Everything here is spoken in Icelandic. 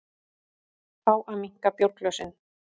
Fá að minnka bjórglösin